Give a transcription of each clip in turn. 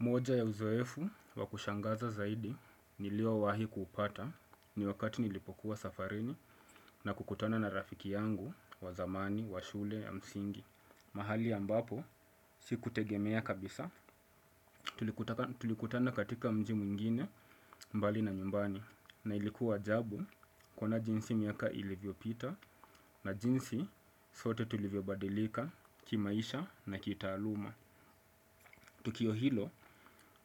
Moja ya uzoefu wakushangaza zaidi nilio wahi kupata ni wakati nilipokuwa safarini na kukutana na rafiki yangu wa zamani wa shule ya msingi. Mahali ya mbapo sikutegemea kabisa tulikutana katika mji mwingine mbali na nyumbani na ilikuwa ajabu kuona jinsi miaka ilivyo pita na jinsi sote tulivyo badilika ki maisha na kitaaluma. Tukio hilo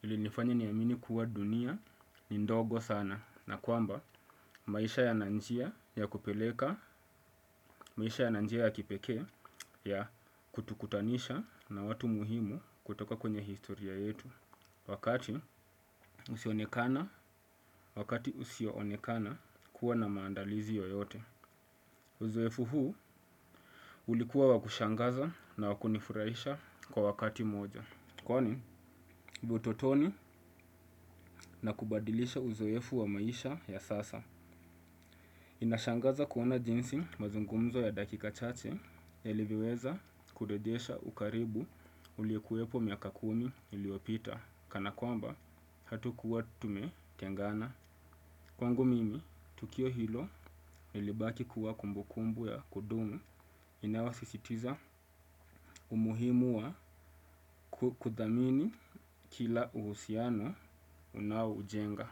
ili nifanya nia amini kuwa dunia ni ndogo sana na kwamba maisha yana njia ya kupeleka, maisha yana njia ya kipekee ya kutukutanisha na watu muhimu kutoka kwenye historia yetu. Wakati usioonekana, wakati usioonekana kuwa na maandalizi yoyote. Uzoefu huu ulikuwa wakushangaza na wakunifuraisha kwa wakati mmoja. Kwani, utotoni na kubadilisha uzoefu wa maisha ya sasa. Inashangaza kuona jinsi mazungumzo ya dakika chache yalivyo weza kurejesha ukaribu uliokuwepo miaka kumi iliopita. Kana kwamba, hatukuwa tume tengana. Kwangu mimi, tukio hilo ilibaki kuwa kumbukumbu ya kudumu inayo sisitiza umuhimu wa kuthamini kila uhusiano unao ujenga.